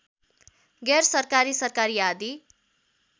गैर सरकारी सरकारी आदि